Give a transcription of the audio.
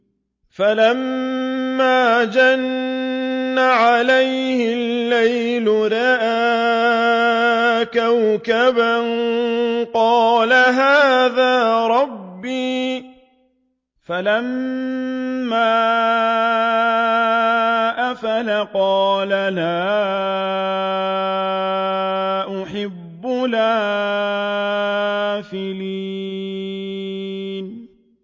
فَلَمَّا جَنَّ عَلَيْهِ اللَّيْلُ رَأَىٰ كَوْكَبًا ۖ قَالَ هَٰذَا رَبِّي ۖ فَلَمَّا أَفَلَ قَالَ لَا أُحِبُّ الْآفِلِينَ